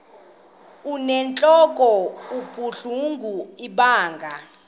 inentlok ebuhlungu ibanga